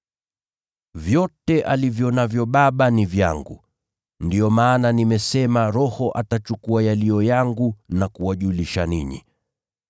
Vyote alivyo navyo Baba ni vyangu. Ndiyo maana nimesema Roho atachukua yaliyo yangu na kuwajulisha ninyi.